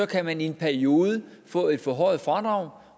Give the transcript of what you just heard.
kan man i en periode få et forhøjet fradrag